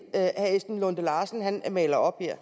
herre esben lunde larsen maler op her